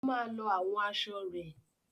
Ó máa lọ àwọn asọ rẹ.